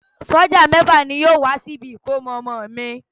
Sọ́jà mẹ́fà ni yóò wá síbi ìkómọ ọmọ mi.